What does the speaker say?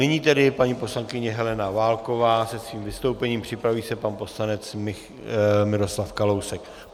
Nyní tedy paní poslankyně Helena Válková se svým vystoupení, připraví se pan poslanec Miroslav Kalousek.